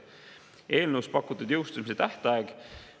Eelnõus pakutud jõustumise tähtaeg.